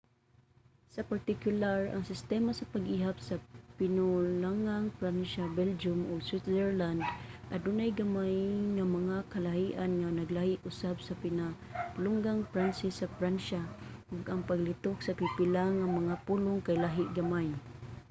sa partikular ang sistema sa pag-ihap sa pinulungang pransya sa belgium ug switzerland adunay gamay nga mga kalahian nga naglahi usab sa pinulungang pranses sa pransya ug ang paglitok sa pipila nga mga pulong kay lahi gamay